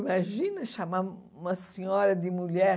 Imagina chamar uma senhora de mulher.